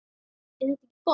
Er þetta ekki gott?